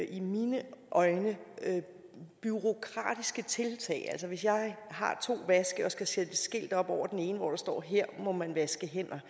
i mine øjne bureaukratiske tiltag altså hvis jeg har to vaske og skal sætte et skilt op over den ene hvor der står at her må man vaske hænder